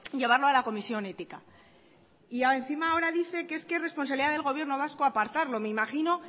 llevarlo a la comisión ética y encima ahora dice que es que es responsabilidad del gobierno vasco apartarlo me imagino